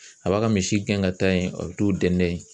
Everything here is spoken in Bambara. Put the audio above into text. A b'a ka misi gɛn ka taa yen a bɛ t'o dɛndɛn